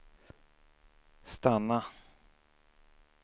stanna